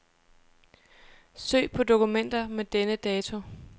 Søg på dokumenter med denne dato.